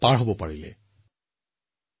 আপোনাক আপোনাৰ পৰিয়াললৈ মোৰ শুভেচ্ছা থাকিল